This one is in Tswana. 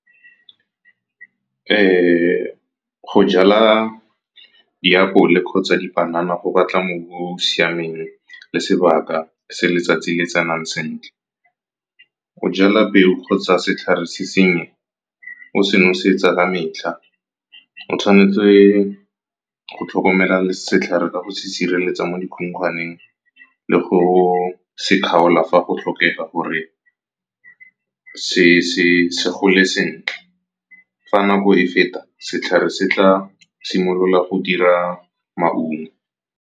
Go jala diapole kgotsa dipanana go batla mobu o o siameng le sebaka se letsatsi le tsenang sentle. O jala peo kgotsa setlhare se sennye, o se nosetsa ka metlha, o tshwanetse go tlhokomela setlhare ka go sireletsa mo dikhukhwaneng le go se kgaola fa go tlhokega gore se gole sentle. Fa nako e feta, setlhare se tla simolola go dira maungo.